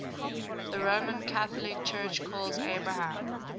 the roman catholic church calls abraham